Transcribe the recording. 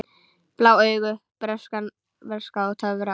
Blá augu, bernska og töfrar